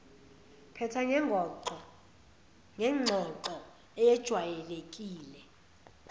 phetha ngengxoxo eyejwayelekile